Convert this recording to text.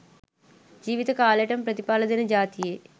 ජීව්ත කාලෙටම ප්‍රතිඵල දෙන ජාතියෙ